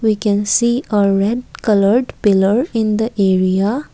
we can see a red coloured pillar in the area.